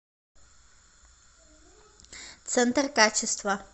центр качества